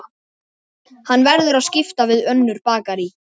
Hann verður að skipta við önnur bakarí.